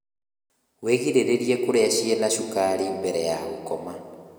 wĩgirĩrĩrie kurĩa ciĩna cukari mbere ya gukoma